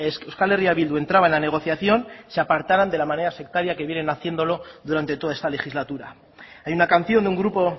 que euskal herria bildu entraba en la negociación se apartaran de la manera sectaria que vienen haciéndolo durante toda esta legislatura hay una canción de un grupo